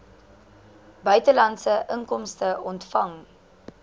buitelandse inkomste ontvang